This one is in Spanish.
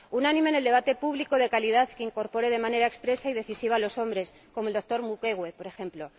unánime en el debate público de calidad que incorpore de manera expresa y decisiva a los hombres, como el doctor Mukwege, por ejemplo